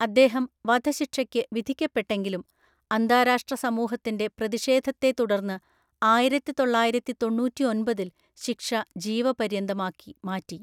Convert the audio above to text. അദ്ദേഹം വധശിക്ഷയ്ക്ക് വിധിക്കപ്പെട്ടെങ്കിലും അന്താരാഷ്ട്ര സമൂഹത്തിന്റെ പ്രതിഷേധത്തെത്തുടർന്ന് ആയിരത്തിതൊള്ളായിരത്തിതൊണ്ണൂറ്റിഒന്‍പതില്‍ ശിക്ഷ ജീവപര്യന്തമാക്കി മാറ്റി.